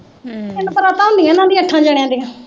ਤਿੰਨ ਪਰਾਤਾਂ ਹੁੰਦੀਆਂ, ਇਨ੍ਹਾਂ ਦੀਆਂ ਅੱਠਾਂ ਜਣੀਆਂ ਦੀਆਂ